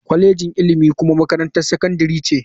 Kwalejin ilimi kuma makarantar sakandare ce.